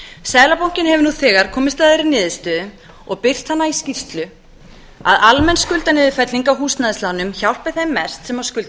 seðlabankinn hefur nú þegar komist að þeirri niðurstöðu og birt hana í skýrslu að almenn skuldaniðurfelling á húsnæðislánum hjálpi þeim mest sem skulda